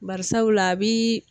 Bari sabula a bi